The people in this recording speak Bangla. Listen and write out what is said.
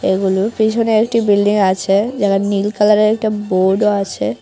এইগুলির পিছনে একটি বিল্ডিং আছে যার নীল কালারের একটা বোর্ড ও আছে।